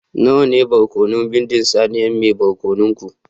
Nawa ne barkono bindin saniyar mai barkono ku